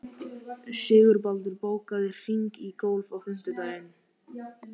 Sigurbaldur, bókaðu hring í golf á fimmtudaginn.